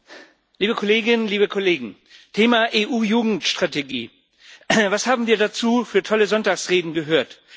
Herr Präsident, liebe Kolleginnen, liebe Kollegen! Thema EU Jugendstrategie Was haben wir dazu für tolle Sonntagsreden gehört.